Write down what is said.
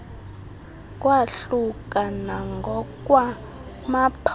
kwahluka nangokwa maphondo